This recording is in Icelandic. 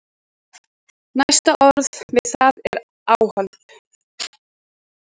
Næsta orð við það er áhald.